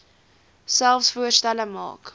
selfs voorstelle maak